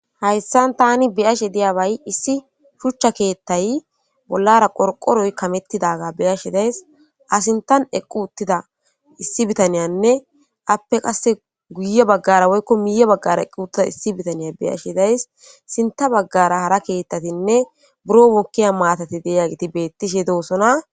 Hayssan tani biyashe diyabay issi shuchcha keethtay bollara qorqoroy kamettidaga beyashe days asintan eqqu uttida issi bitaniyanne appe qasse guye baggara woykko miye baggara eqqu uttida issi bitaniya beyashe days sinta baggara hara keettatinne buro mokkiya maatati deya giti beettishe doosona